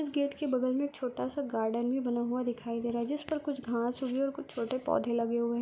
इस गेट के बगल मे एक छोटा सा गार्डन भी बना हुआ दिखाई दे रहा हैजिस पर कुछ घास है और कुछ छोटे पौधे लगे हुए है।